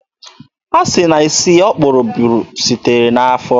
Asị na isi o kpuru bụ site n'afọ.